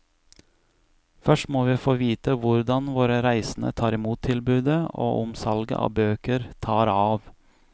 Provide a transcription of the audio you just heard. Først må vi få vite hvordan våre reisende tar imot tilbudet, og om salget av bøker tar av.